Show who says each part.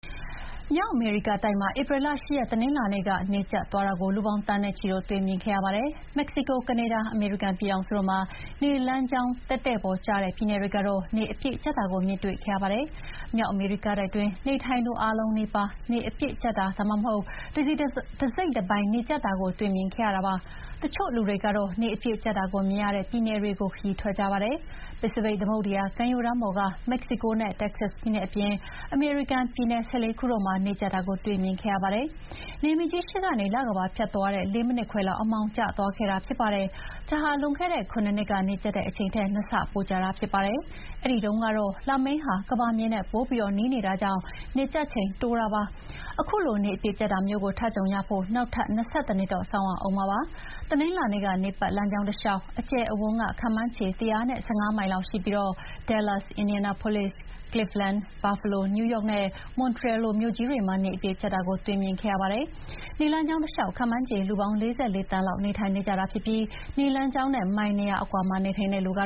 Speaker 1: မြောက်အမေရိကတိုက်မှာ ဧပြီလ ၈ ရက် တနင်္လာနေ့က နေကြတ်သွားတာကို လူပေါင်းသန်းနဲ့ချီတို့ တွေ့မြင်ခဲ့ရပါတယ်။ မက္ကဆီကို၊ ကနေဒါ၊ အမေရိကန်ပြည်ထောင်စုတို့မှာ နေလမ်းကြောင်းတည့်တည့်ပေါ်ကျတဲ့ ပြည်နယ်တွေကတော့ နေအပြည့်ကြတ်တာကိုမြင်တွေ့ခဲ့ရပါတယ်။ မြောက်အမေရိကတိုက်တွင်းနေထိုင်သူအားလုံးနီးပါး နေအပြည့်ကြတ်တာ၊ ဒါမှမဟုတ် တစိတ်တပိုင်းနေကြတ်တာကိုတော့ တွေ့မြင်ခဲ့ကြရတာပါ။ တချို့လူတွေကတော့ နေအပြည့်ကြတ်တာကိုမြင်ရတဲ့ ပြည်နယ်တွေဆီ ခရီးထွက်ကြပါတယ်။ ပစိဖိတ်သမုဒ္ဒရာကမ်းရိုးတန်းပေါ်က မက္ကဆီကိုနဲ့ တက္ကဆတ်ပြည်နယ်အပြင် အမေရိကန်ပြည်နယ် ၁၄ ခုတို့မှာ နေကြတ်တာကိုတွေ့မြင်ခဲ့ကြရပါတယ်။ နေမင်းကြီး ရှေ့ကနေ လကမ္ဘာ ဖြတ်သွားတဲ့ ၄ မိနစ်ခွဲလောက် အမှောင်ကျသွားခဲ့တာဖြစ်ပါတယ်။ ဒါဟာ လွန်ခဲ့တဲ့ ၇ နှစ်က နေကြတ်ခဲ့တဲ့အချိန်ထက် ၂ ဆပိုကြာတာဖြစ်ပါတယ်။ အဲဒီတုန်းကတော့ လမင်းက ကမ္ဘာမြေနဲ့ ပိုပြီးနီးနေတာကြောင့်နေကြတ်ချိန်တိုတာပါ။ ခုလို နေအပြည့်ကြတ်တာမျိုးကို ထပ်ကြုံရဖို့ နောက်ထပ် ၂၁ တော့ စောင့်ရဦးမှာဖြစ်ပါတယ်။ တနင်္လာနေ့က နေပတ်လမ်းကြောင်းတလျှောက် အကျယ်အဝန်းက ခန့်မှန်းခြေ ၁၁၅ မိုင်လောက်ရှိပြီး Dallas၊ Indianapolis၊ Cleveland၊ Buffalo၊ New York နဲ့ Montreal လိုမြို့ကြီးတွေမှာ နေအပြည့်ကြတ်တာကို တွေ့မြင်ခဲ့ရတာပါ။ နေလမ်းကြောင်းတလျှောက် ခန့်မှန်းခြေလူ ၄၄ သန်းလောက် နေထိုင်ကြပြီး နေလမ်းကြောင်းနဲ့ မိုင် ၂ ရာအကွာမှာနေထိုင်တဲ့လူက